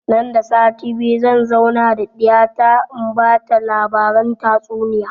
Nan da sati biyu zan zauna da ɗiya ta in bata labaran tatsuniya